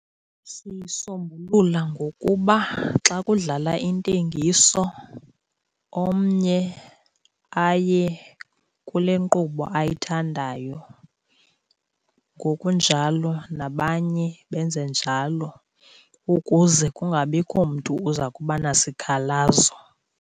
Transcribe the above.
Siyisombulula ngokuba xa kudlala intengiso omnye aye kule nkqubo ayithandayo. Ngokunjalo nabanye benze njalo ukuze kungabikho mntu uza kuba nasikhalazo.